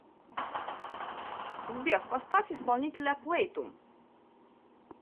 сбер поставь исполнителя плэйтум